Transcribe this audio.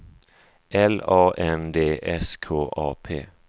L A N D S K A P